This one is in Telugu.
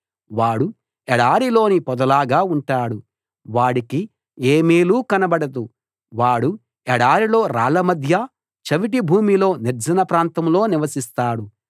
వాడు ఎడారిలోని పొదలాగా ఉంటాడు వాడికి ఏ మేలూ కనబడదు వాడు ఎడారిలో రాళ్ళ మధ్య చవిటి భూమిలో నిర్జన ప్రాంతంలో నివసిస్తాడు